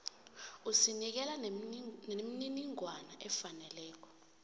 usinikela nemininingwana efaneleko